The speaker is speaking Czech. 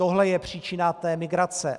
Tohle je příčina té migrace.